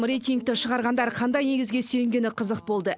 рейтингті шығарғандар қандай негізге сүйенгені қызық болды